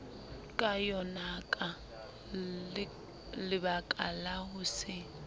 ka yonaka lebakala ho se